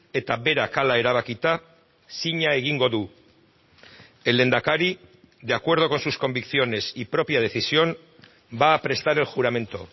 eta berak hala erabakita zina egingo du el lehendakari de acuerdo con sus convicciones y propia decisión va a prestar el juramento